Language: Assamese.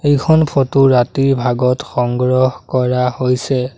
এইখন ফোট ৰাতিৰ ভাগত সংগ্ৰহ কৰা হৈছে।